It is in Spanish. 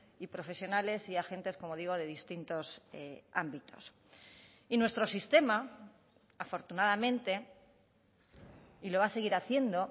y profesionales y agentes como digo de distintos ámbitos y nuestro sistema afortunadamente y lo va a seguir haciendo